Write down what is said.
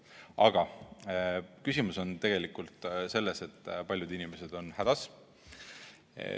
Aga küsimus on tegelikult selles, et paljud inimesed on hädas.